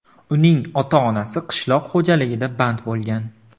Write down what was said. Uning ota-onasi qishloq xo‘jaligida band bo‘lgan.